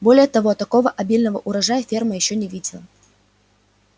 более того такого обильного урожая ферма ещё не видела